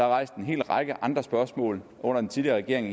rejst en hel række andre spørgsmål under den tidligere regering